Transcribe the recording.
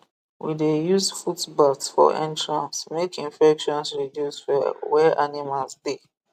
we dey use footbaths for entrance make infections reduce for where animals dey